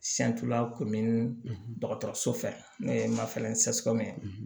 dɔgɔtɔrɔso fɛ n'o ye mafan